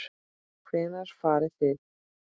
Hvenær farið þið?